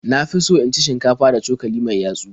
Na fi so in ci shinkafa da cokali mai yatsu.